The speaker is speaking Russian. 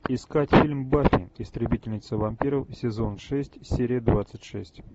искать фильм баффи истребительница вампиров сезон шесть серия двадцать шесть